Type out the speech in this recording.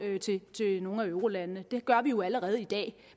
til nogle af eurolandene det gør vi jo allerede i dag